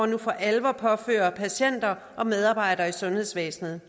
nu for alvor påfører patienter og medarbejdere i sundhedsvæsenet